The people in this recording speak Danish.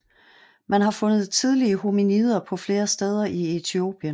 Man har fundet tidlige hominider på flere steder i Etiopien